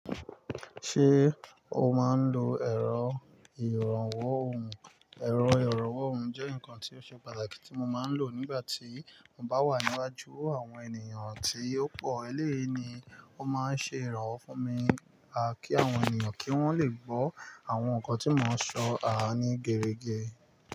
Ṣé o máa ń lo ẹ̀rọ ìrànwọ́ ohùn? Ẹ̀rọ ìrànwọ́ ohùn jẹ́ nǹkan tí ó ṣe pàtàkì tí mo máa ń lò nígbà tí mo bá wà níwájú àwọn ènìyàn àti ọ̀pọ̀ ẹlẹ́yi ni ó máa ń ṣe ìrànwọ́ fún mi kí àwọn ènìyàn kí wọ́n lè gbọ́ àwọn nǹkan tí mò ń sọ ní gere ge.